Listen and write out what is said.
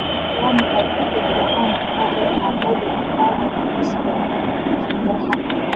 waa maxay kaftankii caanka ahaa ee Monty Python ee ku saabsan shimbiraha